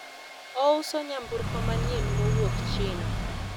ouso nyamburko manyien mowuok China